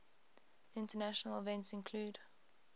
international events include